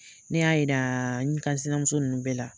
Ne y'a yira n kansinamuso nunnu bɛɛ la.